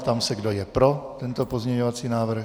Ptám se, kdo je pro tento pozměňovací návrh.